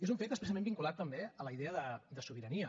és un fet expressament vinculat també a la idea de sobirania